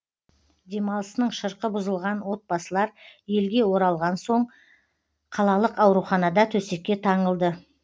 демалысының шырқы бұзылған отбасылар елге оралған соң қалалық ауруханада төсекке таңылды